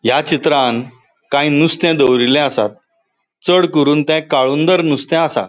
या चित्रांन काई नुस्ते दोवरीले आसात चड करून ते काळुंदर नुस्ते आसा.